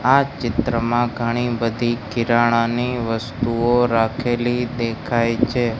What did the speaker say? આ ચિત્રમાં ઘણી બધી કિરાણાની વસ્તુઓ રાખેલી દેખાય છે.